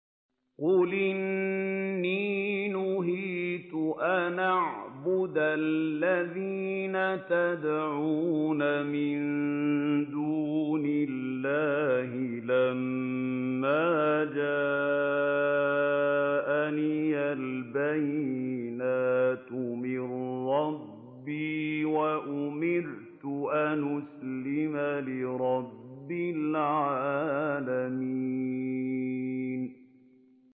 ۞ قُلْ إِنِّي نُهِيتُ أَنْ أَعْبُدَ الَّذِينَ تَدْعُونَ مِن دُونِ اللَّهِ لَمَّا جَاءَنِيَ الْبَيِّنَاتُ مِن رَّبِّي وَأُمِرْتُ أَنْ أُسْلِمَ لِرَبِّ الْعَالَمِينَ